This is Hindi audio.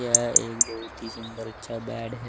यह एक बहुत ही सुंदर अच्छा बेड है।